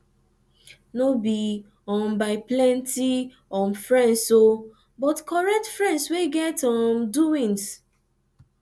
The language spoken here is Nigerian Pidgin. no bi um by plenti um friends o but korekt friends wey get um doings